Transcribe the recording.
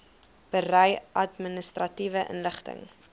berei administratiewe inligting